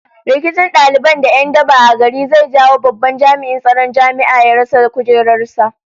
Rikicin daliban da 'yan daba a gari zai jawo babban jami'in tsaron jami'a ya rasa kujerar sa